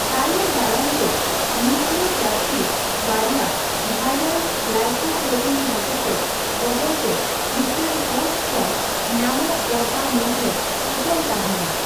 ᱛᱟᱭᱚᱢ ᱫᱟᱨᱟᱢ ᱛᱮ, ᱱᱤᱭᱩᱠᱞᱤᱳᱠᱮᱯᱥᱤᱰ ᱵᱟᱨᱭᱟ ᱵᱷᱟᱭᱨᱟᱞ ᱜᱞᱟᱭᱠᱳᱯᱨᱳᱴᱤᱱ ᱦᱚᱛᱮᱛᱮ ᱵᱚᱫᱚᱞᱛᱮ ᱢᱤᱫᱴᱟᱝ ᱦᱳᱥᱴ ᱠᱷᱚᱱ ᱧᱟᱢᱚᱜ ᱯᱚᱨᱫᱟ ᱢᱩᱫ ᱨᱮ ᱯᱚᱴᱚᱢ ᱛᱟᱦᱮᱸᱱᱟ ᱾